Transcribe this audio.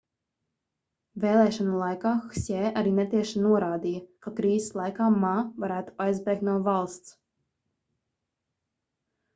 vēlēšanu laikā hsjē arī netieši norādīja ka krīzes laikā ma varētu aizbēgt no valsts